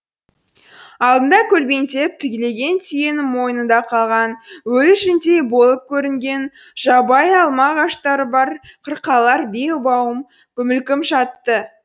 алдында көлбеңдеп түлеген түйенің мойнында қалған өлі жүндей болып көрінген жабайы алма ағаштары бар қырқалар бей уайым мүлгіп жатты